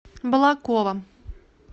балаково